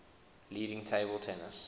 leading table tennis